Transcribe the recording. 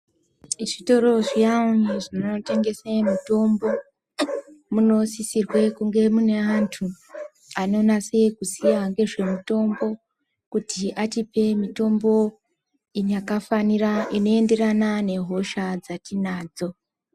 Muzvitoro zviyani zvinotengesa mitombo munosisirwa kunge mune antu anonase kuziya nezvemutombo kuti atipe mutombo wakafanira inoenderana nehosha dzatinadzo.